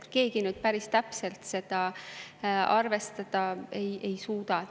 Keegi päris täpselt seda arvestada ei suuda.